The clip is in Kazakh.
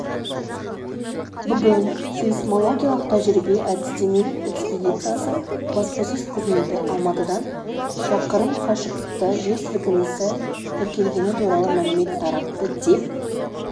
бүгін сейсмологиялық тәжірибе-әдістемелік экспедициясы баспасөз қызметі алматыдан шақырым қашықтықта жер сілкінісі тіркелгені туралы мәлімет таратты деп